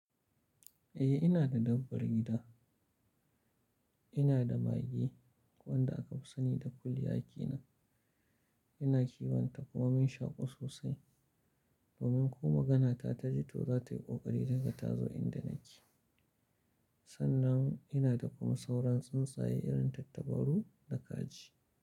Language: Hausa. Eh ina da dabbar gida. Ina da mage wanda aka fi sani da kulli a ke nan. Ina kiwonta kuma mun shaƙu sosai. Domin ko maganata ta ji to za ta yi ƙoƙari daga ta zo inda nake. Sannan ina da kuma sauran tsuntsaye irin tattabaru da kaji.